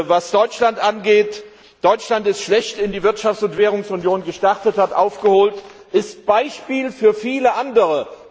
Was Deutschland angeht Deutschland ist schlecht in die Wirtschafts und Währungsunion gestartet, hat aufgeholt, ist Beispiel für viele andere.